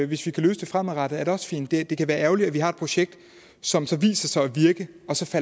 vi kan løse det fremadrettet er det også fint det det vil være ærgerligt at vi har et projekt som viser sig at virke